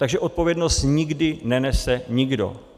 Takže odpovědnost nikdy nenese nikdo.